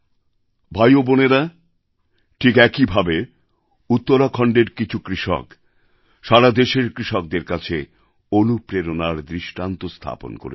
ভাই ও বোনেরা ঠিক একই ভাবে উত্তরাখণ্ডের কিছু কৃষক সারা দেশের কৃষকদের কাছে অনুপ্রেরণার দৃষ্টান্ত স্থাপন করেছেন